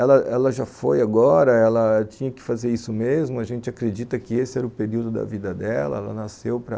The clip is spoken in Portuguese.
Ela ela já foi agora, ela tinha que fazer isso mesmo, a gente acredita que esse era o período da vida dela, ela nasceu para...